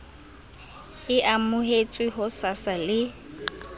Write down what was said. e amohetswe ho sasa le